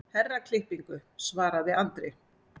Herraklippingu, svaraði Andri.